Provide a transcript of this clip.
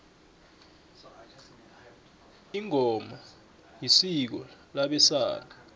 ingoma isiko labesana